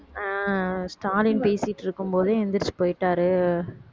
அஹ் ஸ்டாலின் பேசிட்டு இருக்கும் போதே எந்திரிச்சு போயிட்டாரு